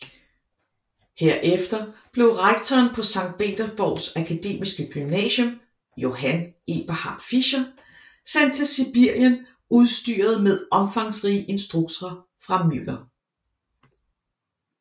Herefter blev rektoren på Sankt Petersborgs akademiske gymnasium Johann Eberhart Fischer sendt til Sibirien udstyret med omfangsrige instrukser fra Müller